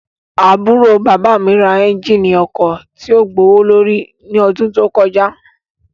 Aburo baba mi ra ẹnjínì ọkọ tio gbowolori ni ọdun to kọja